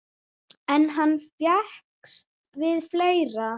En hann fékkst við fleira.